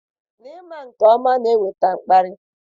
N'ịma nke ọma na-eweta mkparị.